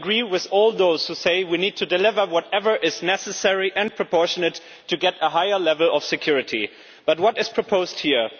I agree with all those who say we need to deliver whatever is necessary and proportionate to get a higher level of security but what is proposed here?